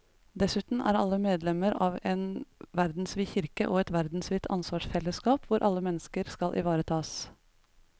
Dessuten er alle medlemmer av en verdensvid kirke og et verdensvidt ansvarsfellesskap hvor alle mennesker skal ivaretas.